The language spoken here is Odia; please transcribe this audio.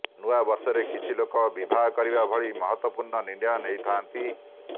ନୂଆବର୍ଷରେ କିଛି ଲୋକ ବିବାହ କରିବା ଭଳି ମହତ୍ତ୍ବପୂର୍ଣ୍ଣ ନିର୍ଣ୍ଣୟ ନେଇଥାଆନ୍ତି